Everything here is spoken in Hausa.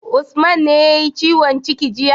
Usman ne yayi ciwon ciki jiya?